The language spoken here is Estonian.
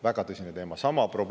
Väga tõsine teema!